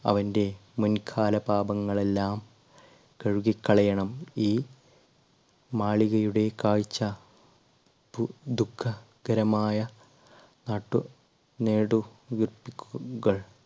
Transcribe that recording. അവൻറെ മുൻകാല പാപങ്ങളെല്ലാം കഴുകി കളയണം ഈ മാളികയുടെ കാഴ്ച ദുഃഖകരമായ നാട്ടു നെടുവീർപ്പുകൾ